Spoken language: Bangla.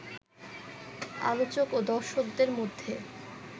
আলোচক ও দর্শকদের মধ্যে